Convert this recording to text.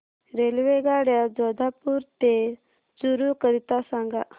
रेल्वेगाड्या जोधपुर ते चूरू करीता सांगा